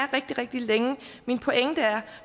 rigtig rigtig længe min pointe er